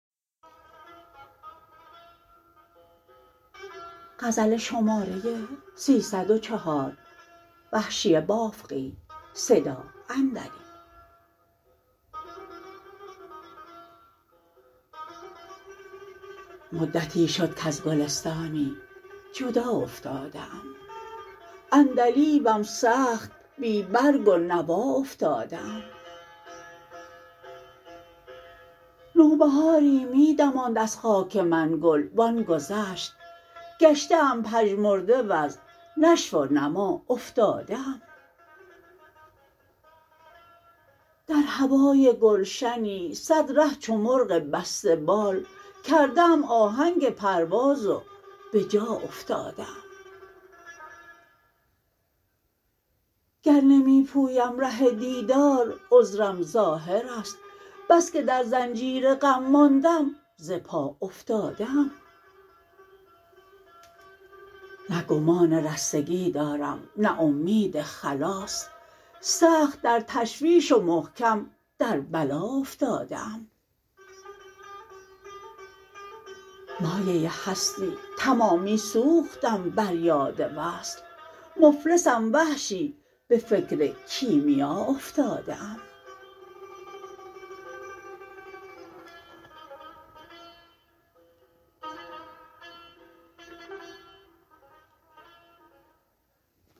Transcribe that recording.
مدتی شد کز گلستانی جدا افتاده ام عندلیبم سخت بی برگ و نوا افتاده ام نوبهاری می دماند از خاک من گل وان گذشت گشته ام پژمرده و ز نشو و نما افتاده ام در هوای گلشنی سد ره چو مرغ بسته بال کرده ام آهنگ پرواز و بجا افتاده ام گر نمی پویم ره دیدار عذرم ظاهر است بسکه در زنجیر غم ماندم ز پا افتاده ام نه گمان رستگی دارم نه امید خلاص سخت در تشویش و محکم در بلا افتاده ام مایه هستی تمامی سوختم بر یاد وصل مفلسم وحشی به فکر کیمیا افتاده ام